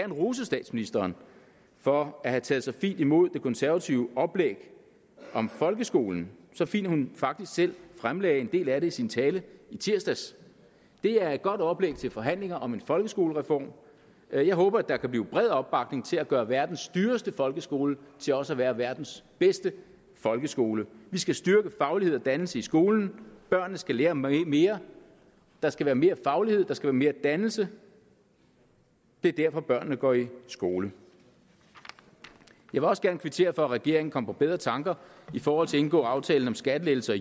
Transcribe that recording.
rose statsministeren for at have taget så fint imod det konservative oplæg om folkeskolen så fint at hun faktisk selv fremlagde en del af det i sin tale i tirsdags det er et godt oplæg til forhandlinger om en folkeskolereform jeg jeg håber at der kan blive bred opbakning til at gøre verdens dyreste folkeskole til også at være verdens bedste folkeskole vi skal styrke faglighed og dannelse i skolen børnene skal lære mere der skal være mere faglighed der skal være mere dannelse det er derfor børnene går i skole jeg vil også gerne kvittere for at regeringen kom på bedre tanker i forhold til at indgå aftalen om skattelettelser